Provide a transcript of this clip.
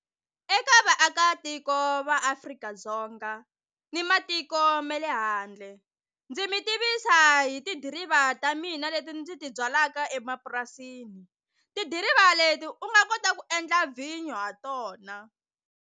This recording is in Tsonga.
Eka vaakatiko va Afrika-Dzonga ni matiko me le handle ndzi mi tivisa hi tidiriva ta mina leti ndzi ti byalaka emapurasini tidiriva leti u nga kota ku endla vhinyo ha tona.